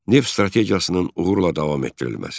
Neft strategiyasının uğurla davam etdirilməsi.